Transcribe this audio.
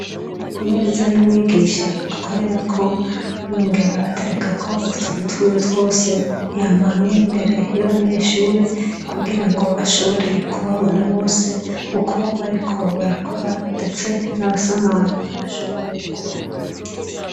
Imeza y'umwigisha akorerako yongera aterekeko utuntu twiwe twose, yama n'imbere y'abanyeshure kugira ngo ashobore kubabona bose uko bariko barakora, ndetse n'abasamara bashobore gukora.